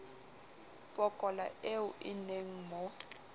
pokola eo e nenge mo